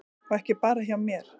Og ekki bara hjá mér.